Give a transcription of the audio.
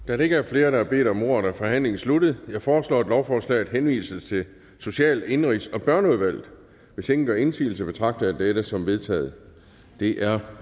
da der ikke er flere der har bedt om ordet er forhandlingen sluttet jeg foreslår at lovforslaget henvises til social indenrigs og børneudvalget hvis ingen gør indsigelse betragter jeg dette som vedtaget det er